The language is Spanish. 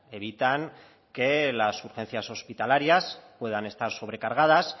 evitan que las urgencias hospitalarias puedan estar sobrecargadas